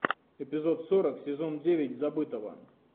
эпизод сорок сезон девять забытого